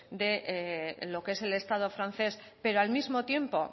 de lo que es el estado francés pero al mismo tiempo